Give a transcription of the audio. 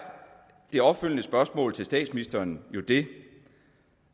det opfølgende spørgsmål til statsministeren jo det